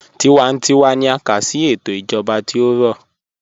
Tíwántíwá ní à ká sí ètò ìjọba tí ó rọ̀.